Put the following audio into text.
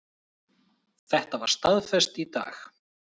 Þetta var staðfest í dag